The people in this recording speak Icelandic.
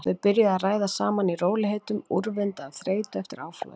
Þau byrjuðu að ræða saman í rólegheitum, úrvinda af þreytu eftir áflogin.